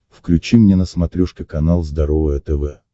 включи мне на смотрешке канал здоровое тв